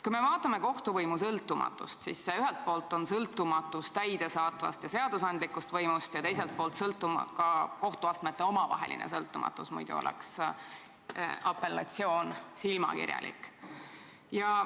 Kui me vaatame kohtuvõimu sõltumatust, siis ühelt poolt on see sõltumatus täidesaatvast ja seadusandlikust võimust ning teiselt poolt on ka kohtuastmete omavaheline sõltumatus, muidu oleks apellatsioon silmakirjalik.